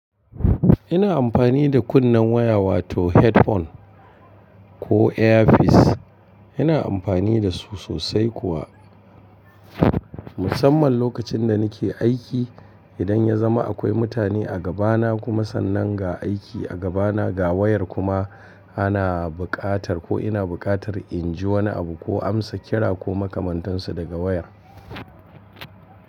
Ina amfani da kunnen waya wato headphone ko earpiece. Ina amfani da su sosai kuwa musamman lokacin da nake aiki. Idan ya zama akwai mutane a gabana kuma sannan ga aiki a gabana, ga wayar kuma ana buƙatar ko ina buƙatar in ji wani abu ko amsa kira ko makamantansu daga wayar.